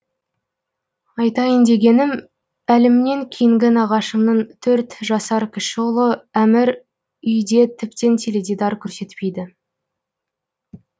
айтайын дегенім әлімнен кейінгі нағашымның төрт жасар кіші ұлы әмір үйде тіптен теледидар көрсетпейді